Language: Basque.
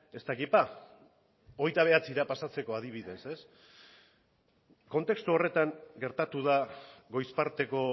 ez dakit ba hogeita bederatzira pasatzeko adibidez kontestu horretan gertatu da goiz parteko